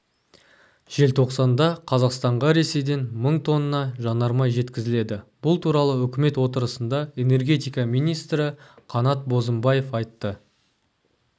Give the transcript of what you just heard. желтоқсанда қазақстанға ресейден мың тонна жанармай жеткізіледі бұл туралы үкімет отырысында энергетика министрі қанат бозымбаев айтты